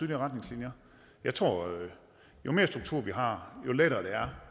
retningslinjer jeg tror at jo mere struktur vi har jo lettere